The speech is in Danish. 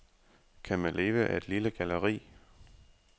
Kan man leve af et lille galleri?